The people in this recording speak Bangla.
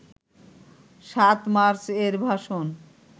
৭ মার্চ এর ভাষণ